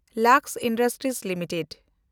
Lux industries limited